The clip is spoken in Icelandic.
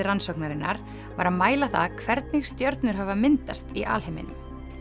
rannsóknarinnar var að mæla það hvernig stjörnur hafa myndast í alheiminum